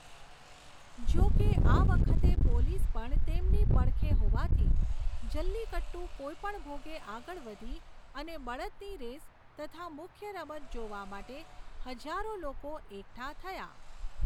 જોકે આ વખતે પોલીસ પણ તેમની પડખે હોવાથી જલ્લિકટ્ટુ કોઈપણ ભોગે આગળ વધી અને બળદની રેસ તથા મુખ્ય રમત જોવા માટે હજારો લોકો એકઠા થયાં.